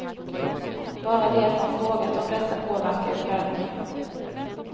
Bara det att man frågat om detta påverkar ju prövningen.